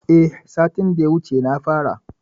Eh satin da ya wuce na fara.